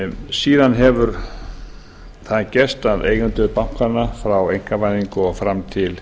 síðan hefur það gerst að eigendur bankanna frá einkavæðingu og fram til